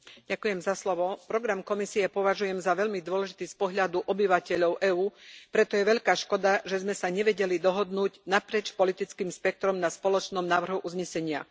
Pani predsedajúca, program Komisie považujem za veľmi dôležitý z pohľadu obyvateľov EÚ, preto je veľká škoda, že sme sa nevedeli dohodnúť naprieč politickým spektrom na spoločnom návrhu uznesenia.